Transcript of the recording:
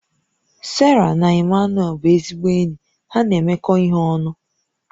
Sarah na Emmanuel bụ ezigbo enyi ha na-emekọ ihe ọnụ